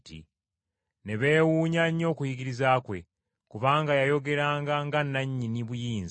Ne beewuunya nnyo okuyigiriza kwe. Kubanga yayogeranga nga nnannyini buyinza.